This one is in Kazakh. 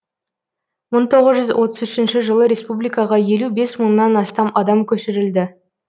мың тоғыз жүз отыз үшінші жылы республикаға елу бес мыңнан астам адам көшірілді